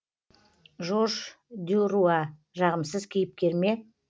жорж дюруа жағымсыз кейіпкер ме